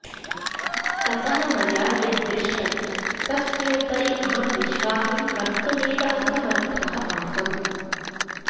ततः मया यद्दृष्टं तस्योपरि अहं विश्वासं कर्तुमेव असमर्थः आसम्